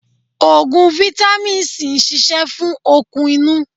Ogun fitàmì si ń ṣíṣe fún okun inú.